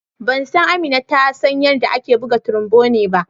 Ban san Amina ta san yarɗa ake buga trombone ba.